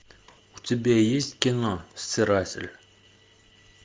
у тебя есть кино стиратель